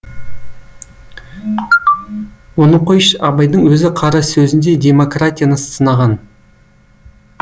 оны қойш абайдың өзі қара сөзінде демократияны сынаған